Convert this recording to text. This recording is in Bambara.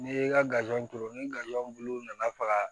N'i ye kazɔn turu ni gaziw bulu nana faga